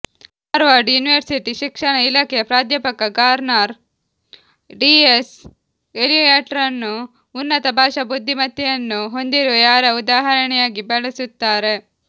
Harvard university ಶಿಕ್ಷಣ ಇಲಾಖೆಯ ಪ್ರಾಧ್ಯಾಪಕ ಗಾರ್ಡ್ನರ್ ಟಿಎಸ್ ಎಲಿಯಟ್ರನ್ನು ಉನ್ನತ ಭಾಷಾ ಬುದ್ಧಿಮತ್ತೆಯನ್ನು ಹೊಂದಿರುವ ಯಾರ ಉದಾಹರಣೆಯಾಗಿ ಬಳಸುತ್ತಾರೆ